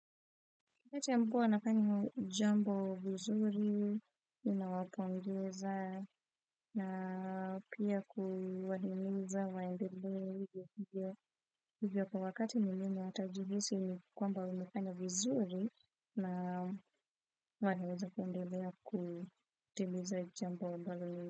Wakatati wa mvua anafanyoa jambo vizuri, ninawapongeza na pia kuwahimiza waendelee hivyo hivyo kwa wakati muhimu ntajihisi kwamba umefanya vizuri na wanaweza kuendelea kutimiza jambo ambalo.